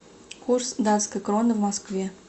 курс датской кроны в москве